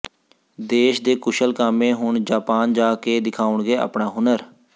ਦੇਸ਼ ਦੇ ਕੁਸ਼ਲ ਕਾਮੇ ਹੁਣ ਜਾਪਾਨ ਜਾ ਕੇ ਦਿਖਾਉਣਗੇ ਆਪਣਾ ਹੁਨਰ